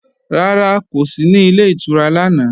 Rárá, kò sí ní Ilé ìtura lánàá